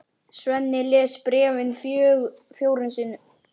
Svenni les bréfið fjórum sinnum.